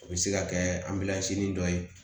O bɛ se ka kɛ an bɛlansi dɔ ye